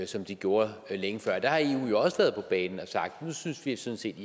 som de gjorde længe før der har eu også været på banen og sagt nu synes vi sådan set